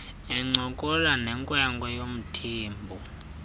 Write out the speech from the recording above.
encokola nenkwenkwe yomthembu